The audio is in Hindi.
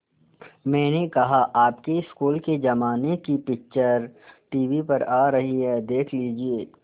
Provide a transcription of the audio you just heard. मैंने कहा आपके स्कूल के ज़माने की पिक्चर टीवी पर आ रही है देख लीजिये